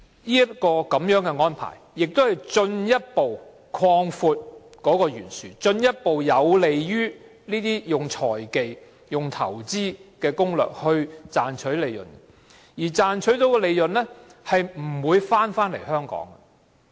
這個安排亦進一步擴闊貧富懸殊，有利於這些用財技或投資攻略的企業賺取利潤，但它們賺到的利潤不會回到香港。